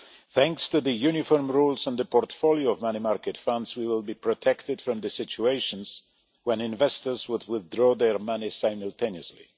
Thanks to the uniform rules on the portfolio of money market funds, we will be protected from the situations when investors would withdraw their money simultaneously.